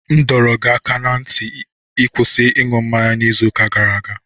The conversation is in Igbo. M dọrọ gị aka ná ntị ka ị kwụsị ịṅụ mmanya n'izu gara aga!